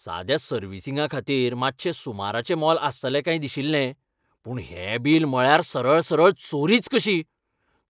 साद्या सर्विसींगाखातीर मातशें सुमाराचें मोल आसतलें काय दिशिल्लें, पूण हें बील म्हळ्यार सरळसरळ चोरीच कशी!